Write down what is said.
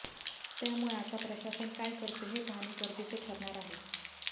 त्यामुळे आता प्रशासन काय करते हे पाहणे गरजेचे ठरणार आहे